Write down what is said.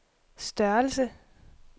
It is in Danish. størrelse